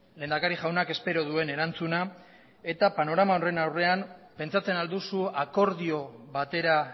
lehendakari jaunak espero duen erantzuna eta panorama horren aurrean pentsatzen al duzu akordio batera